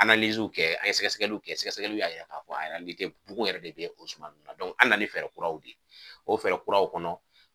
w kɛ an ye sɛgɛsɛgɛliw kɛ sɛgɛsɛgɛliw y'a yira k'a fɔ bugun yɛrɛ de be o suman nn na an na ni fɛɛrɛ kuraw de ye. O fɛɛrɛ kuraw kɔnɔ